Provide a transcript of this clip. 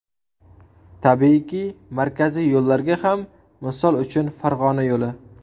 Tabiiyki, markaziy yo‘llarga ham, misol uchun, Farg‘ona yo‘li.